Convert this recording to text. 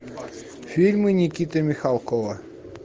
фильмы никиты михалкова